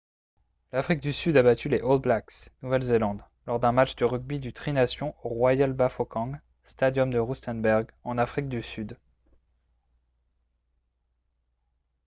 l'afrique du sud a battu les all blacks nouvelle-zélande lors d'un match de rugby du tri-nations au royal bafokeng stadium de rustenburg en afrique du sud